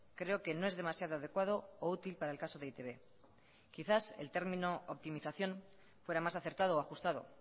creo que no es demasiado adecuado o útil para el caso de e i te be quizás el término optimización fuera más acertado o ajustado